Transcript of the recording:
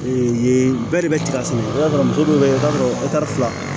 yen bɛɛ de bɛ tigɛ sɛnɛ i b'a sɔrɔ muso dɔw be yen i b'a sɔrɔ fila